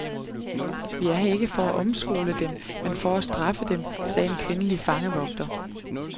Vi er her ikke for at omskole dem, men for at straffe dem, sagde en kvindelig fangevogter.